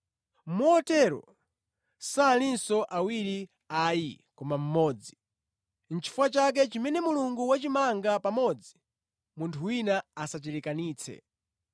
Motero salinso awiri ayi koma mmodzi. Nʼchifukwa chake chimene Mulungu wachimanga pamodzi munthu wina asachilekanitse.”